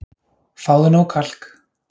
Fáðu nóg kalk